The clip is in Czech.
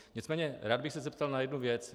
Nicméně rád bych se zeptal na jednu věc.